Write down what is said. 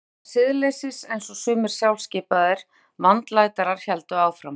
Eða siðleysis einsog sumir sjálfskipaðir vandlætarar héldu fram.